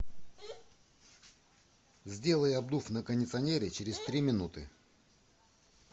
сделай обдув на кондиционере через три минуты